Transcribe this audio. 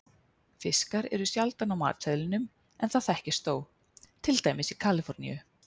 Fiskar eru sjaldan á matseðlinum en það þekkist þó, til dæmis í Kaliforníu.